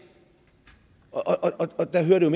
og der hører det